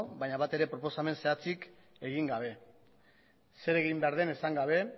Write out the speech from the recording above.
baina batere proposamen zehatzik egin gabe zer egin behar den esan gabe